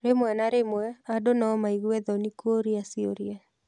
Rĩmwe na rĩmwe, andũ no maigwe thoni kũũria ciũria.